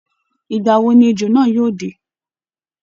Ìgbà wo ni ejò náà yóò dé?